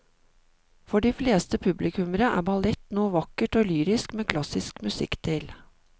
For de fleste publikummere er ballett noe vakkert og lyrisk med klassisk musikk til.